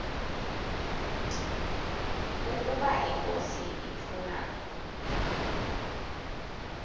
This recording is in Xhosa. ukaba inkosi ituna